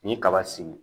Ni kaba sigi